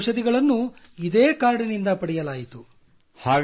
ಎಲ್ಲ ಔಷಧಿಗಳನ್ನೂ ಇದೇ ಕಾರ್ಡ್ ನಿಂದ ಪಡೆಯಲಾಯಿತು